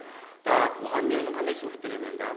так оған мен енді қандай сыйлық беремін енді а